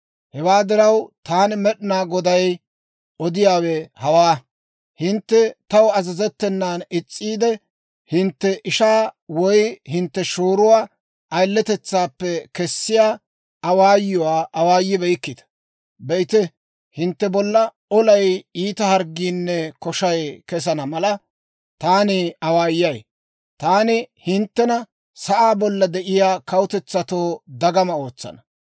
«Hewaa diraw, taani Med'inaa Goday odiyaawe hawaa: hintte taw azazettenan is's'iide, hintte ishaa woy hintte shooruwaa ayiletetsaappe kessiyaa awaayuwaa awaayibeykkita. Be'ite, hintte bolla olay iita harggiinne koshay kesana mala, taani awaayay. Taani hinttena sa'aa bolla de'iyaa kawutetsatoo dagama ootsana.